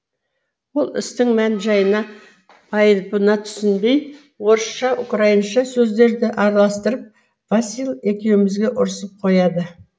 ол істің мән жайына байыбына түсінбей орысша украинша сөздерді араластырып василь екеуімізге ұрысып қояды